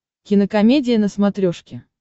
кинокомедия на смотрешке